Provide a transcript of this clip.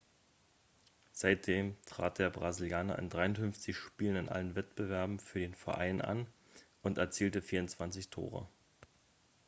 seitdem trat der brasilianer in 53 spielen in allen wettbewerben für den verein an und erzielte 24 tore